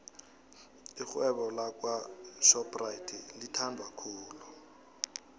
ixhewebo lakwo shopxathi lithandwa khulu